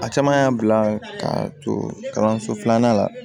A caman y'a bila ka to kalanso filanan la